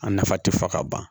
A nafa tɛ fɔ ka ban